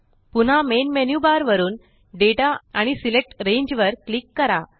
पुन्हा main menu bar वरुन दाता आणि सिलेक्ट रांगे वर क्लिक करा